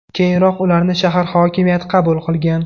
Keyinroq ularni shahar hokimiyati qabul qilgan.